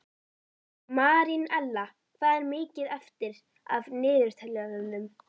Marínella, hvað er mikið eftir af niðurteljaranum?